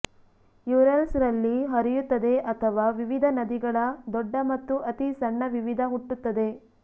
Urals ರಲ್ಲಿ ಹರಿಯುತ್ತದೆ ಅಥವಾ ವಿವಿಧ ನದಿಗಳ ದೊಡ್ಡ ಮತ್ತು ಅತೀ ಸಣ್ಣ ವಿವಿಧ ಹುಟ್ಟುತ್ತದೆ